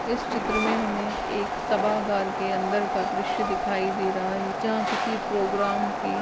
इस चित्र में हमे एक सभागार का दृश्य दिखाई दे रहा हैं जहाँ किसी प्रोग्राम की--